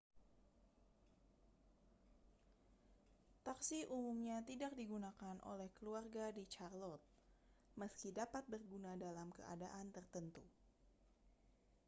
taksi umumnya tidak digunakan oleh keluarga di charlotte meski dapat berguna dalam keadaan tertentu